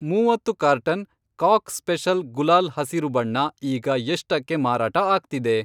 ಮೂವತ್ತು carton cock special ಗುಲಾಲ್ ಹಸಿರು ಬಣ್ಣ ಈಗ ಎಷ್ಟಕ್ಕೆ ಮಾರಾಟ ಆಗ್ತಿದೆ?